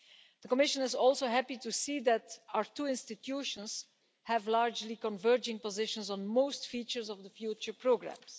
The Commission is also happy to see that our two institutions have largely converging positions on most features of the future programmes.